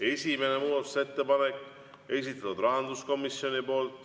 Esimene muudatusettepanek, esitatud rahanduskomisjoni poolt.